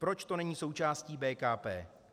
Proč to není součástí BKP?